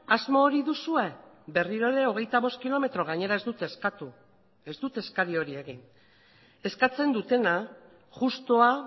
asmo hori duzue berriro ere hogeita bost kilometro gainera ez dute eskatu ez dute eskari hori egin eskatzen dutena justua